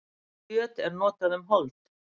kjöt er notað um hold